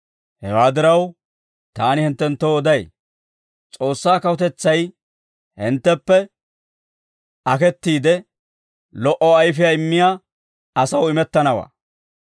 «Hewaa diraw, taani hinttenttoo oday; S'oossaa kawutetsay hintteppe aketiide, lo"o ayfiyaa immiyaa asaw imettanawaa.